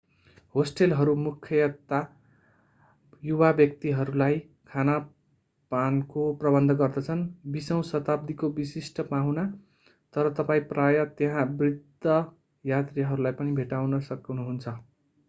होस्टलहरू मुख्यतया युवा व्यक्तिहरूलाई खान-पानको प्रबन्ध गर्दछन् विशौं शताब्दीको विशिष्ट पाहुना तर तपाईं प्रायः त्यहाँ बृद्ध यात्रीहरूलाई पनि भेट्टाउन सक्नुहुन्छ